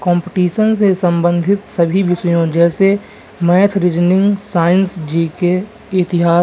Competition से संबंधित सभी विषयों जैसे मैथ रीजनिंग साइंस जी.के. इतिहास --